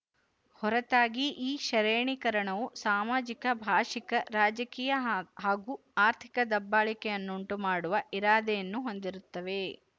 ಹೊರತಾಗಿ ಈ ಶರೇಣೀಕರಣವು ಸಾಮಾಜಿಕ ಭಾಶಿಕ ರಾಜಕೀಯ ಹಾಗೂ ಆರ್ಥಿಕ ದಬ್ಬಾಳಿಕೆಯನ್ನುಂಟು ಮಾಡುವ ಇರಾದೆಯನ್ನು ಹೊಂದಿರುತ್ತವೆ